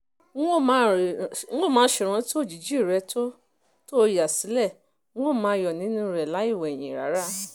n ó máa ṣèrántí òjijì rẹ tó o yà sílẹ̀ n ó máa yọ̀ nínú rẹ̀ lọ láì wẹ̀yìn rárá